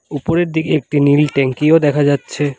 উপরের দিকে একটি নীল ট্যাঙ্কিও দেখা যাচ্ছে।